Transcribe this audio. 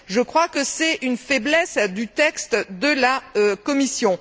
Je crois que c'est une faiblesse du texte de la Commission.